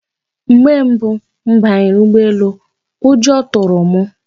Mgbe mbụ m banyere ụgbọelu, ụjọ tụrụ m.